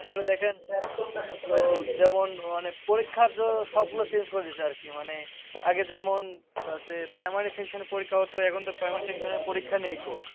আসলে দেখেন তো যেমন মানে পরীক্ষার সবগুলো change করে দিয়েছে আরকি। মানে আগে যেমন হচ্ছে primary session এ পরীক্ষা হতো এখন তো primary session পরীক্ষা নেই কো।